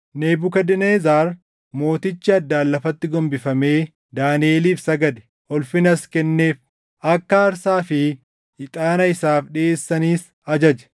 Nebukadnezar mootichi addaan lafatti gombifamee Daaniʼeliif sagade; ulfinas kenneef; akka aarsaa fi ixaana isaaf dhiʼeessanis ajaje.